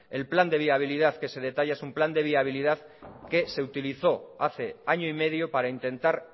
el plan de viabilidad que se detalla es un plan de viabilidad que se utilizó hace año y medio para intentar